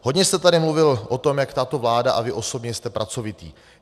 Hodně jste tady mluvil o tom, jak tato vláda a vy osobně jste pracovitý.